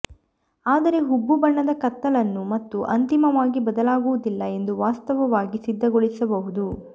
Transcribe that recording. ಆದರೆ ಹುಬ್ಬು ಬಣ್ಣದ ಕತ್ತಲನ್ನು ಮತ್ತು ಅಂತಿಮವಾಗಿ ಬದಲಾಗುವುದಿಲ್ಲ ಎಂದು ವಾಸ್ತವವಾಗಿ ಸಿದ್ಧಗೊಳಿಸಬಹುದು